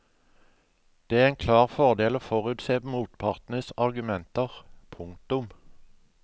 Det er en klar fordel å forutse motpartens argumenter. punktum